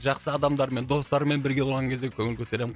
жақсы адамдармен достарыммен бірге болған кезде көңіл көтеремін